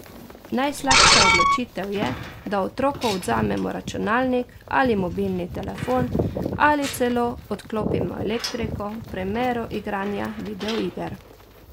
Najslabša odločitev je, da otroku odvzamemo računalnik ali mobilni telefon, ali celo odklopimo elektriko v primeru igranja video iger.